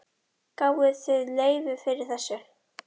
Gáfuð þið leyfi fyrir þessu?